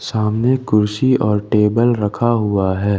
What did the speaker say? सामने कुर्सी और टेबल रखा हुआ है।